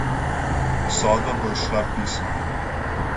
Sodba bo izšla pisno.